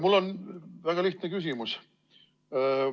Mul on väga lihtne küsimus.